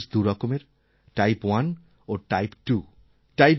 diabetes দুই রকমের type 1 ও টাইপ 2